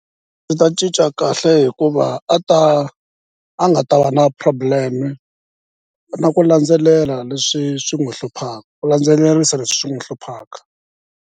Ta cinca kahle hikuva a ta a nga ta va na problem-e na ku landzelela leswi swi n'wi hlupha ku landzelerisa leswi swi n'wi hluphaka.